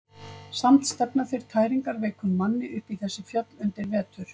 Samt stefna þeir tæringarveikum manni upp í þessi fjöll undir vetur.